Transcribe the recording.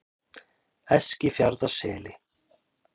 Eskifjarðarseli